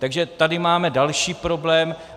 Takže tady máme další problém.